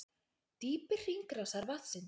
Dýpi hringrásar vatnsins